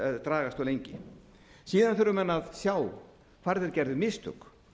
dragast of lengi síðan þurfa menn að sjá hvar þeir gerðu mistök